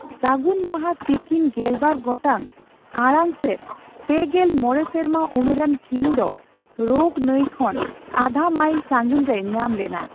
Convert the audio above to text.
ᱥᱟᱹᱜᱩᱱ ᱢᱟᱦᱟ ᱛᱤᱠᱤᱱ ᱜᱮᱞᱵᱟᱨ ᱜᱚᱴᱟᱝ ᱟᱲᱟᱝ ᱥᱮᱫ ᱯᱮᱜᱮᱞ ᱢᱚᱲᱮ ᱥᱮᱨᱢᱟ ᱩᱢᱮᱨᱟᱱ ᱠᱤᱢ ᱫᱚ ᱨᱳᱜ ᱱᱟᱹᱭ ᱠᱷᱚᱱ ᱟᱫᱷᱟ ᱢᱟᱭᱤᱞ ᱥᱟᱹᱜᱤᱧ ᱨᱮᱭ ᱧᱟᱢ ᱞᱮᱱᱟ ᱾